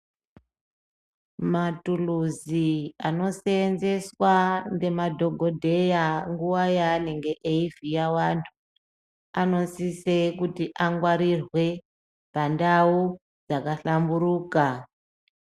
Matuluzi anosenzeswa ngemadhogodheya nguva yaanenge eivhiya vantu. Anosise kuti angwarirwe pandau yakahlamburuka.